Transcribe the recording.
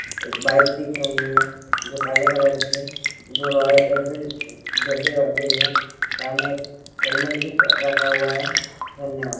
एक बाइक दिख रही है जो काले कलर की है जो रॉयल एनफील्ड उ जैसी लग रही है सामने एक हेलमेट भी ब रखा हुआ है धन्यवाद।